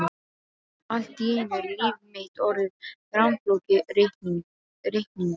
Allt í einu er líf mitt orðið rammflókið reiknings